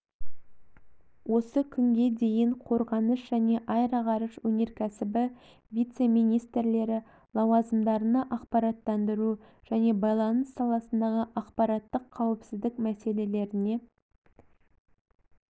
осы күнге дейін қорғаныс және аэроғарыш өнеркәсібі вице-министрлері лауазымдарына ақпараттандыру және байланыс саласындағы ақпараттық қауіпсіздік мәселелеріне